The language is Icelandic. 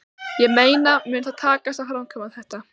Ég meina mun það takast að framkvæma þetta?